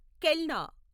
కెల్నా